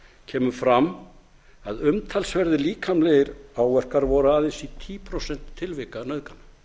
kemur fram að umtalsverðir líkamlegir áverkar voru aðeins í um tíu prósent tilvika nauðgana